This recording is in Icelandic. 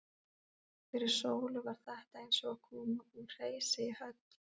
Fyrir Sólu var þetta eins og að koma úr hreysi í höll.